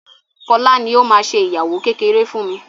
Fola ní o má ṣe ìyàwó kékeré fún mí.